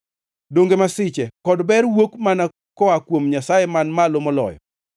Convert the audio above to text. Donge masiche kod ber wuok mana koa kuom Nyasaye Man Malo Moloyo?